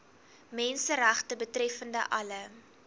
menseregte betreffende alle